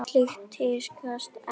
Slíkt tíðkast enn.